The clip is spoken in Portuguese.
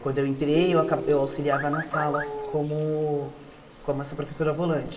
Quando eu entrei, eu aca eu auxiliava nas salas como como essa professora volante.